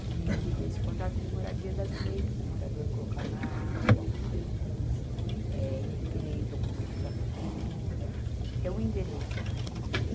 que esse contrato de moradia dá direito para o morador colocar uma água, uma luz, eh, requerer documentos da prefeitura, ter um endereço, né.